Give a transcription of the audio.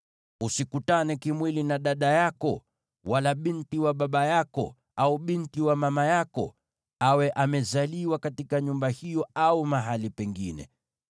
“ ‘Usikutane kimwili na dada yako, wala binti wa baba yako, au binti wa mama yako, awe amezaliwa katika nyumba hiyo au mahali pengine.